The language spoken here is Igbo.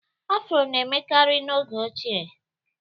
afro na-emekarị n'oge ochie